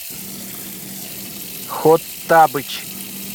хоттабыч